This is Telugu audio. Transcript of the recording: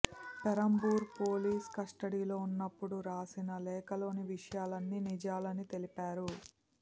పెరంబవూర్ పోలీస్ కస్టడీలో ఉన్నప్పుడు రాసిన లేఖలోని విషయాలు అన్నీ నిజాలని తెలిపారు